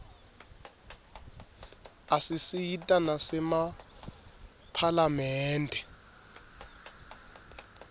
isisita nasemaphalamende